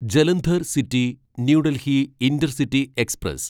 Jalandhar city New Delhi intercity express